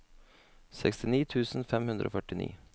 sekstini tusen fem hundre og førtini